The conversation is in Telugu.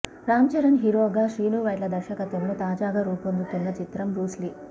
రామ్ చరణ్ హీరోగా శ్రీనువైట్ల దర్శకత్వంలో తాజాగా రూపొందుతున్న చిత్రం బ్రూస్ లీ